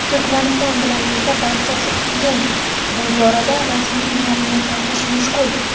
Turkmaniston bilan esa barchasi qiyin — bu borada rasmiy ma’lumot topish mushkul.